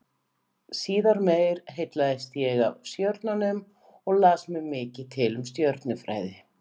Síðar meir heillaðist ég af stjörnunum og las mér mikið til um stjörnufræði.